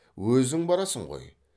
өзің барасың ғой